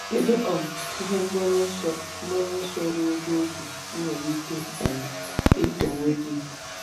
Kedu um ihe mgbaru ọsọ mgbaru ọsọ ogologo oge ị nwere ike um ịtọ onwe gị?